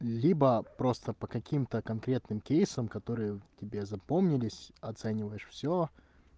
либо просто по каким-то конкретным кейсом которые тебе запомнились оцениваешь всё